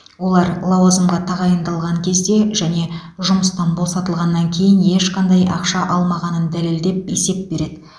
олар лауазымға тағайындалған кезде және жұмыстан босатылғаннан кейін ешқандай ақша алмағанын дәлелдеп есеп береді